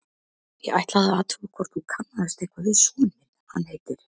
Ég ætlaði að athuga hvort þú kannaðist eitthvað við son minn, hann heitir